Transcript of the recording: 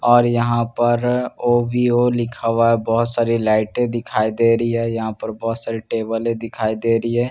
और यहां पर ओ_वी_ओ लिखा हुआ है बहुत सारी लाइटें दिखाई दे रही है यहां पर बहुत सारी टेबलें है दिखाई दे रही है और--